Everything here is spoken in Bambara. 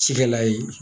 Cikɛla ye